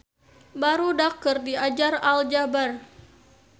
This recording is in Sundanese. Barudak keur diajar aljabar